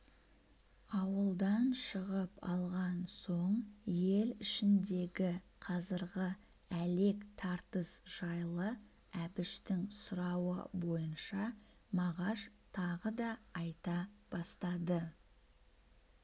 ауылдан шығып алған соң ел ішіндегі қазіргі әлек тартыс жайлы әбіштің сұрауы бойынша мағаш тағы да айта бастады